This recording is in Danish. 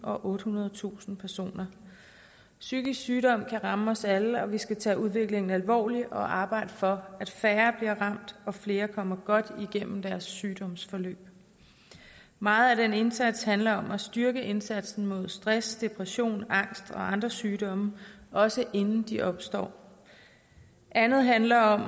og ottehundredetusind personer psykisk sygdom kan ramme os alle og vi skal tage udviklingen alvorligt og arbejde for at færre bliver ramt og at flere kommer godt igennem deres sygdomsforløb meget af den indsats handler om at styrke indsatsen mod stress depression angst og andre sygdomme også inden de opstår andet handler om